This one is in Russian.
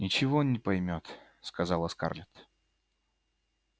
ничего не поймёт сказала скарлетт